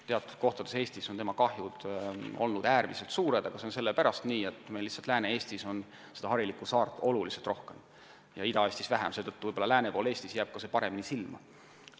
Teatud kohtades Eestis on tema kahjud olnud äärmiselt suured, aga see on sellepärast nii, et meil on Lääne-Eestis harilikku saart oluliselt rohkem kui Ida-Eestis, mistõttu jääb see võib-olla lääne pool paremini silma.